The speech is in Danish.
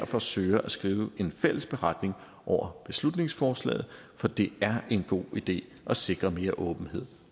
forsøger at skrive en fælles beretning over beslutningsforslaget for det er en god idé at sikre mere åbenhed